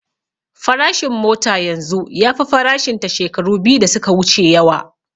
Farashin mota yanzu ya fi farashin ta shekaru biyu da su ka wuce yawa